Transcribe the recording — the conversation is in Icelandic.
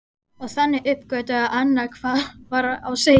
Og þannig uppgötvaði Anna hvað var á seyði.